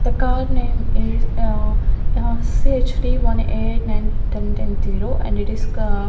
the car name is a C_H_D one eight nine ten-ten zero and it is --